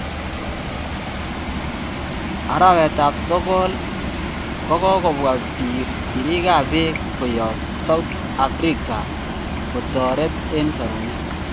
Arawet ap sogol 7: Kogopwa pirik ap peg koyop south africa kotoret en sorunet.